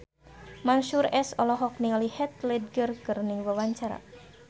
Mansyur S olohok ningali Heath Ledger keur diwawancara